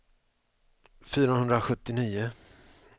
fyrahundrasjuttionio